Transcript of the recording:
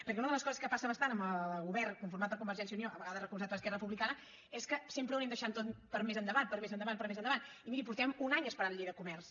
perquè una de les coses que passen bastant amb el govern conformat per convergència i unió a vegades recolzat per esquerra republicana és que sempre ho anem deixant tot per a més endavant per a més endavant i miri fa un any que esperem la llei de comerç